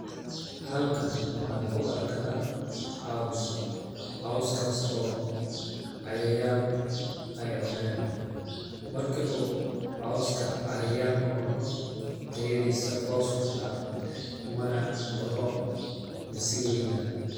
Halkan wxaan ku arkaa caws, caws kaas oo cayayaan ay cuneen ,marki uu cawska cayayaan cuno tayadiisa hoos ayuu u dhacaa mana baxo masii weeynaado.